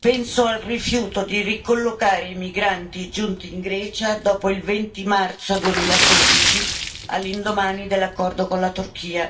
penso al rifiuto di ricollocare i migranti giunti in Grecia dopo il 20 marzo 2016, all'indomani dell'accordo con la Turchia,